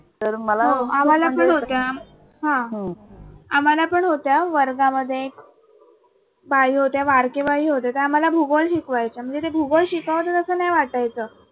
हा आम्हाला पण होत्या वर्गामध्ये बाई होत्या बारके बाई होत्या त्या आम्हाला भूगोल शिकवायच्या म्हणजे ते भूगोल शिकवतात असं नाही वाटायच.